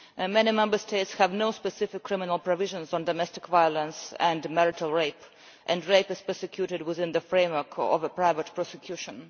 Many Member States have no specific criminal provisions on domestic violence and marital rape, and rape is prosecuted within the framework of a private prosecution.